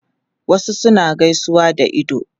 Wasu suna gaisuwa da ido